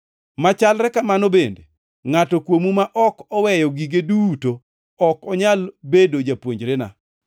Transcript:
Machalre kamano bende, ngʼato kuomu ma ok oweyo gige duto ok onyal bedo japuonjrena.